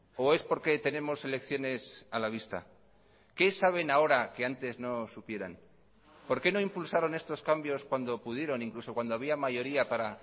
o es porque tenemos elecciones a la vista qué saben ahora que antes no supieran por qué no impulsaron estos cambios cuando pudieron incluso cuando había mayoría para